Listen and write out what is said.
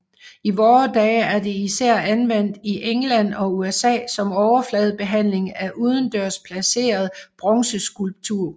I vore dage er det især anvendt i England og USA som overfladebehandling af udendørs placeret bronzeskulptur